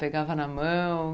Pegava na mão?